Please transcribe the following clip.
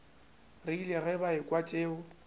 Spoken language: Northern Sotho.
rile ge ba ekwa tšeo